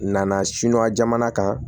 Nana siniwa jamana kan